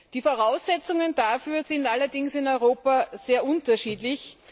Die Voraussetzungen dafür sind allerdings in Europa sehr unterschiedlich.